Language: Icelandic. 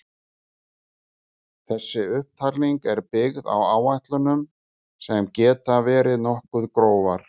Þessi upptalning er byggð á áætlunum sem geta verið nokkuð grófar.